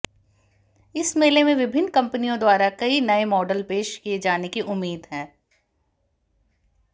इस मेले में विभिन्न कंपनियों द्वारा कई नए मॉडल पेश किए जाने की उम्मीद है